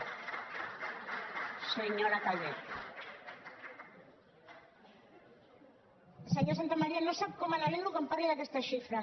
senyor santamaría no sap com m’alegro que em parli d’aquestes xifres